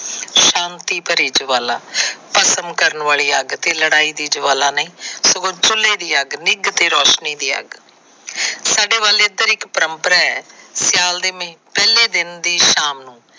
ਸ਼ਾਤੀ ਭਰੀ ਜਵਾਲਾ। ਭਸਮ ਕਰਨ ਵਾਲੀ ਅੱਗ ਤੇ ਲੜਾਈ ਦੀ ਜਵਾਲਾ ਨਹੀ। ਨਿੱਗ ਤੇ ਰੋਸ਼ਨੀ ਦੀ ਅੱਗ। ਸਾਡੇ ਵੱਲ ਇੱਧਰ ਇਕ ਪਰੰਪਰਾ ਹੈ। ਸਿਆਲ ਦੇ ਪਹਿਲੇ ਦਿਨ।